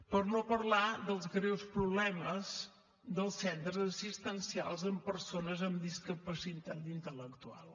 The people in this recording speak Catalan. per no parlar dels greus problemes dels centres assistencials amb persones amb discapacitat intel·lectual